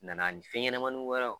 Nana ani fɛn ɲɛnamani wɛrɛw